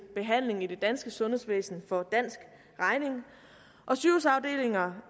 behandling i det danske sundhedsvæsen for dansk regning og sygehusafdelinger